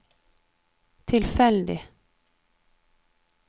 tilfeldig